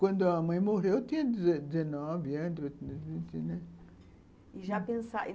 Quando a mãe morreu, eu tinha dezenove anos, vinte, né. E já pensava